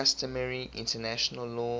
customary international law